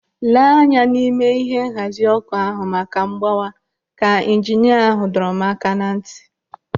"Lee anya n'ime ihe nhazi ọkụ ahụ maka mgbawa!" Ka ijinia ahụ dọrọ m aka na ntị.